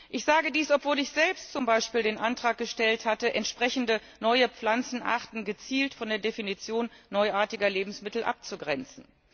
Ich sage dies, obwohl ich selbst zum Beispiel den Antrag gestellt hatte, entsprechende neue Pflanzenarten gezielt von der Definition neuartiger Lebensmittel abzugrenzen.